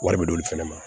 Wari bɛ d'olu fɛnɛ ma